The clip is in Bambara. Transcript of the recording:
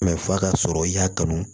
f'a ka sɔrɔ i y'a kanu